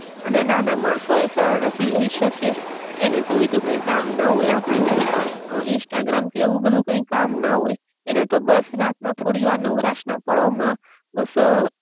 અને નાના માણસો એ સરળતા થી લઈ સકે, એને તો બીજું કાઇ કામ ના હોય આ પડી જેમ અ ઇન્સ્ટાગ્રામ કે એવું બધુ કાઈ કામ ના હોય, એને તો બસ રાત ના થોડીવાર નવરાશ ના પળો માં બસઅ